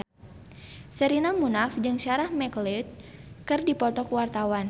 Sherina Munaf jeung Sarah McLeod keur dipoto ku wartawan